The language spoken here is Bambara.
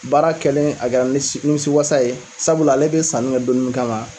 Baara kɛlen a kɛra ni nimisiwasa ye sabula ale bɛ sanni kɛ don min kama